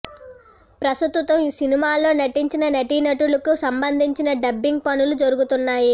ప్రసతుతం ఈ సినిమాలో నటించిన నటీనటులకి సంబందించిన డబ్బింగ్ పనులు జరుగుతున్నాయి